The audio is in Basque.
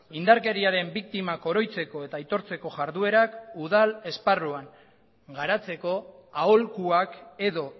indarkeriaren biktimak oroitzeko eta aitortzeko jarduerak udal esparruan garatzeko aholkuak edo